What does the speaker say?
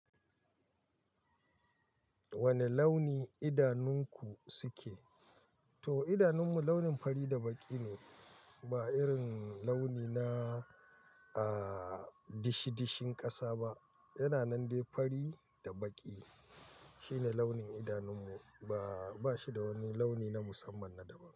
Wane launi idanunku suke? To idanun mu launin fari da baƙi ne, ba irin launi na, aaa, dishi-dishin ƙasa ba. Yana nan dai fari da baƙi. Shi ne launin idanun mu ba, ba shi da wani launi na musamman na daban.